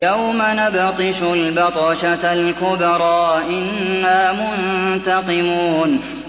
يَوْمَ نَبْطِشُ الْبَطْشَةَ الْكُبْرَىٰ إِنَّا مُنتَقِمُونَ